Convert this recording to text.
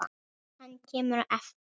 Hann kemur á eftir.